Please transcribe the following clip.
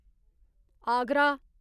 Agra